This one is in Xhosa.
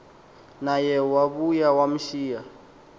naye wabuya wamshiya